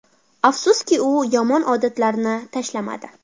Afsuski, u yomon odatlarini tashlamadi.